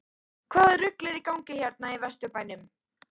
HVAÐA RUGL ER Í GANGI HÉRNA Í VESTURBÆNUM???